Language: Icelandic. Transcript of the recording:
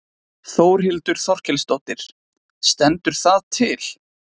Þórhildur Þorkelsdóttir: Stendur það til?